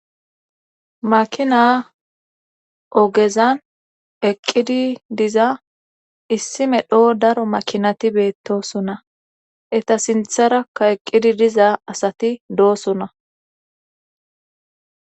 Makina ogezan eqqidi diza issi medho daro makinati beettosona eta sintharakka eqqidi diza asati doosona